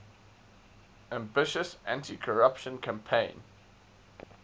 ambitious anticorruption campaign